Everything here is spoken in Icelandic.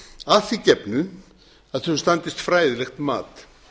að því gefnu að þau standist fræðilegt mat